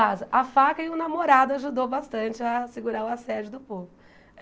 Vaza a faca e o namorado ajudou bastante a segurar o assédio do povo.